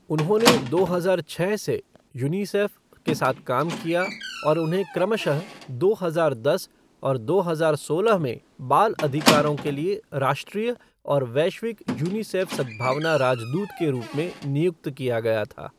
उन्होंने दो हजार छः से यूनिसेफ़ के साथ काम किया और उन्हें क्रमशः दो हज़ार दस और दो हज़ार सोलह में बाल अधिकारों के लिए राष्ट्रीय और वैश्विक यूनिसेफ़ सद्भावना राजदूत के रूप में नियुक्त किया गया था।